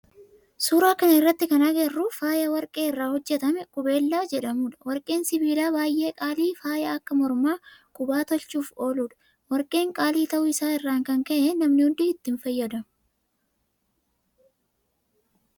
Suuraa kana irratti kana agarru faaya warqee irraa hojjetame qubeellaa jedhamudha. Warqeen sibiila baayyee qaalii faaya akka mormaa, qubaa tolchuuf ooludha. Warqeen qaalii ta'u isaa irraa kan ka'e namni hundi itti hin fayyadamu.